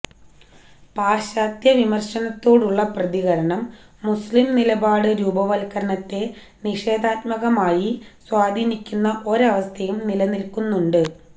പാശ്ചാത്യവിമര്ശത്തോടുള്ള പ്രതികരണം മുസ്ലിംനിലപാട് രൂപവത്കരണത്തെ നിഷേധാത്മകമായി സ്വാധീനിക്കുന്ന ഒരവസ്ഥയും നിലനില്ക്കുന്നുണ്ട്